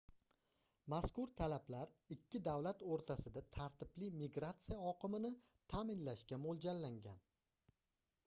mazkur talablar ikki davlat oʻrtasida tartibli migratsiya oqimini taʼminlashga moʻljallangan